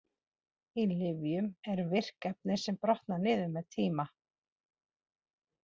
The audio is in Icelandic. Í lyfjum eru virk efni sem brotna niður með tíma.